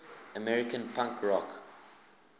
american punk rock